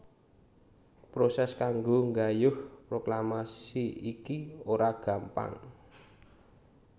Prosès kanggo nggayuh proklamasi iki ora gampang